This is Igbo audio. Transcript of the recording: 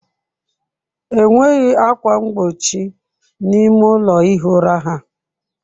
Enweghị ákwà mgbochi n'ime ụlọ ihi ụra ha.